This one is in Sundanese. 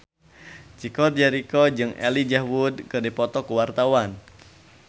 Chico Jericho jeung Elijah Wood keur dipoto ku wartawan